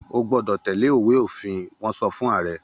O gbọ́dọ̀ tẹ́lẹ̀ Ìwé-òfin! Wọ́n sọ fún ààrẹ.